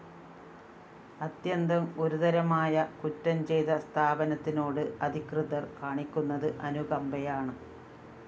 അത്യന്തം ഗുരുതരമായ കുറ്റം ചെയ്ത സ്ഥാപനത്തിനോട് അധികൃതര്‍ കാണിക്കുന്നത് അനുകമ്പയാണ്